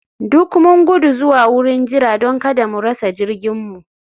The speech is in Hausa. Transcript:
Duk mun gudu zuwa wurin jira don kada mu rasa jirginmu